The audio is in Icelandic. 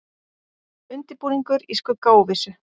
Undirbúningur í skugga óvissu